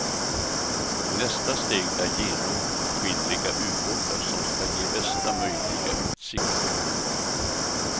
Nästa steg är genomskinliga ubåtar som ska ge bästa möjliga utsikt.